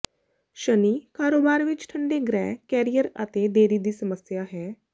ਸ਼ਨੀ ਕਾਰੋਬਾਰ ਵਿਚ ਠੰਡੇ ਗ੍ਰਹਿ ਕੈਰੀਅਰ ਅਤੇ ਦੇਰੀ ਦੀ ਸਮੱਸਿਆ ਹੈ